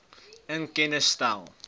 in kennis stel